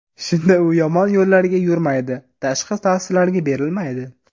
Shunda u yomon yo‘llarga yurmaydi, tashqi ta’sirlarga berilmaydi.